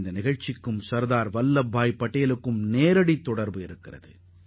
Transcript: இந்த சம்பவமும் சர்தார் வல்லபாய் பட்டேலுடன் நேரடி தொடர்புடையதாகும்